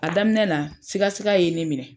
A daminɛ na sika sika ye ne minɛ.